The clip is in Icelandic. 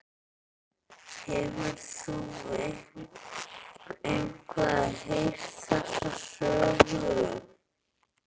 Hefur þú eitthvað heyrt þessa sögu?